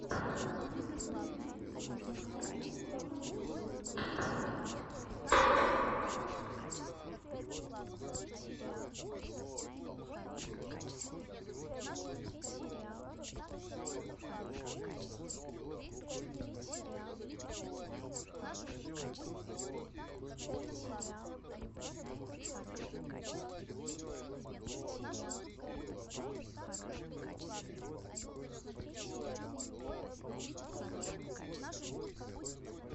в ютюбе запускай кокаплей